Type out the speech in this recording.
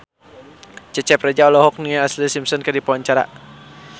Cecep Reza olohok ningali Ashlee Simpson keur diwawancara